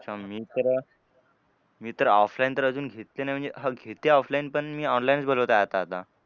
अच्छा मी तर मी तर offline तर अजून घेतले नाही म्हणजे हां घेते offline पण मी online च बोलवतोय आता आता.